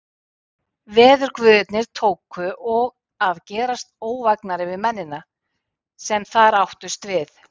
Veðurguðirnir tóku og að gerast óvægnari við mennina, sem þar áttust við.